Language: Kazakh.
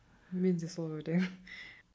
мен де солай ойлаймын